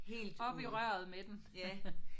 Op i røret med den